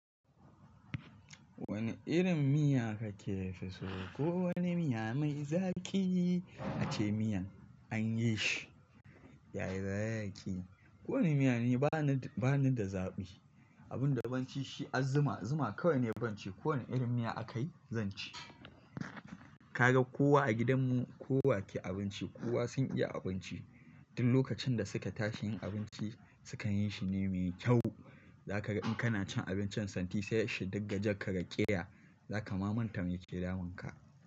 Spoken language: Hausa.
Wani irin miya kake fiso? Ko wani miya mai zaƙi ace miyan anyi shi yayi zaƙi. Ko wani miya ne bana, bana da zaɓi. Abin da ban ci shi azuma, zuma kawai ne ban ci. Ko wani irin miya aka yi zan ci. Kaga kowa a gidan mu kowa ke abinci, kowa sun iya abinci. Duk lokacin da suke tashi yin abinci sukan yi shi ne mai kyau. Zaka ga in kana cin abincin santi sai shi duk gajen ka raƙe ya, zaka ma mantar yake damun ka.